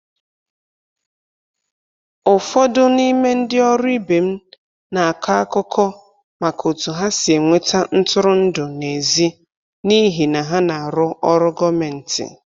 Ụfọdụ n'ime ndị ọrụ ibe m na-akọ akụkọ maka otu ha si enweta ntụrụndụ n’èzí n'ihi na ha na-arụ ọrụ gọọmentị..